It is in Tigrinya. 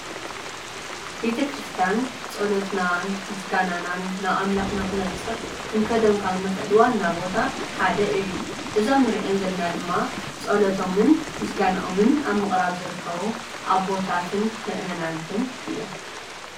ቤተ ክርስቲያን ጸሎትናን ምስጋናናን ናብ ኣምላኽና ኽነብጽሕ ክንከዶም ካብ ዝግበአና ቦታ ሓደ እዩ፡፡ እዞም ንርእዮም ዘለና ድማ ፀሎቶምን ምስጋንኦምን ኣብ ምቕራብ ዝርከቡ ቦታትን ምእመናትን እዮም፡፡